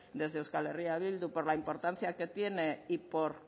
desde eh bildu por la importancia que tiene y por